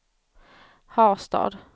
Harstad